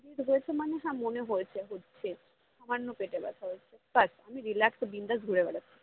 seriously মানে যা মনে হয়েছে হচ্ছে সামান্য পেতে ব্যাথা হয়েছে but আমি relax এ বিন্দাস ঘুরে বেড়াচ্ছি।